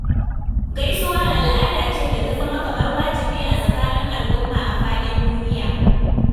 Gaisuwa al'ada ce da ta zama kamar wajibi a tsakanin al'umma a faɗin duniya.